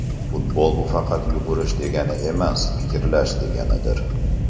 Futbol bu faqat yugurish degani emas fikrlash deganidir.